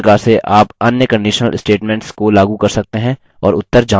हमें उत्तर false मिलता है